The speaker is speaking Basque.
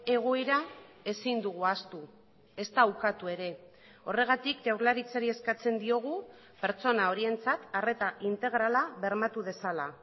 egoera ezin dugu ahaztu ezta ukatu ere horregatik jaurlaritzari eskatzen diogu pertsona horientzat arreta integrala bermatu dezala